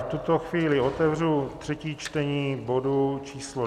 V tuto chvíli otevřu třetí čtení bodu číslo